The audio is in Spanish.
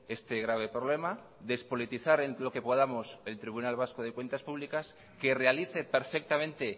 este grave problema despolitizar en lo que podamos el tribunal vasco de cuentas públicas que realice perfectamente